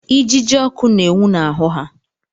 Ijiji ọkụ na-enwu n'ahụ ha.